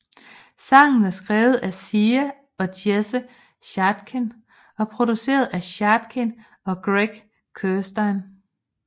Sangen er skrevet af Sia og Jesse Shatkin og produceret af Shatkin og Greg Kurstin